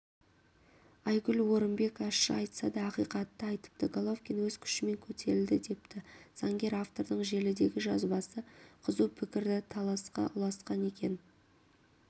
айгүл орынбек ащы айтса ақиқатты айтыпты головкин өз күшімен көтерілді депті заңгер автордың желідегі жазбасы қызу пікіріталасқа ұласқан екен